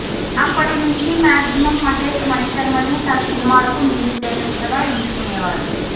అప్పటి నుంచి మాక్సిమమ్ మహేష్ మణిశర్మనే తన సినిమాలకు మ్యూజిక్ డైరెక్టర్ గా ఎంచుకునేవారు